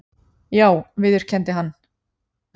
Já viðurkenndi hann.